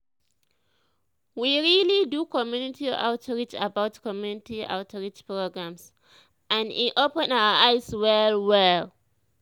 we really do community outreach about community outreach programs and e open our eyes well well.